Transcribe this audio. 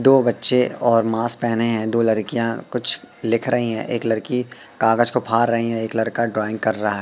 दो बच्चे और मास्क पेहने हैं दो लड़कियां कुछ लिख रही है एक लड़की कागज को फार रही है एक लड़का ड्राइंग कर रहा--